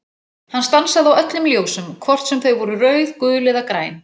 Hann stansaði á öllum ljósum, hvort sem þau voru rauð, gul eða græn.